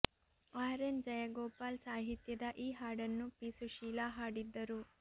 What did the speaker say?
R N Jayagopal ಸಾಹಿತ್ಯದ ಈ ಹಾಡನ್ನು ಪಿ ಸುಶೀಲಾ ಹಾಡಿದ್ದರು